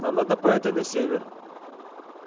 нам надо по этой на север